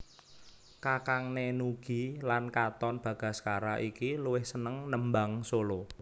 Kakangné Nugie lan Katon Bagaskara iki luwih seneng nembang solo